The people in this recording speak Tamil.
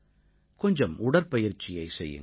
கொஞ்சம் உடற்பயிற்சியைச் செய்யுங்கள்